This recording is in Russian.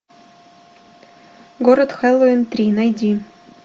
город хэллоуин три найди